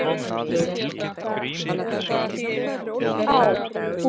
Líka þá.